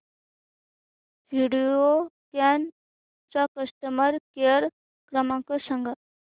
व्हिडिओकॉन चा customer care क्रमांक सांगा